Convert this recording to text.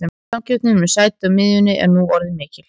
Samkeppnin um sæti á miðjunni er nú orðin mikil.